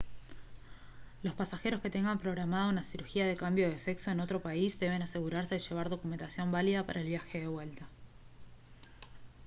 los pasajeros que tengan programada una cirugía de cambio de sexo en otro país deben asegurarse de llevar documentación válida para el viaje de vuelta